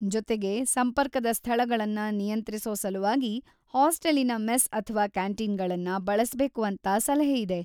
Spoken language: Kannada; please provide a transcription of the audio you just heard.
ಜೊತೆಗೆ, ಸಂಪರ್ಕದ ಸ್ಥಳಗಳನ್ನ ನಿಯಂತ್ರಿಸೋ ಸಲುವಾಗಿ ಹಾಸ್ಟೆಲಿನ ಮೆಸ್‌ ಅಥವಾ ಕ್ಯಾಂಟೀನಗಳನ್ನ ಬಳಸ್ಬೇಕು ಅಂತ ಸಲಹೆಯಿದೆ.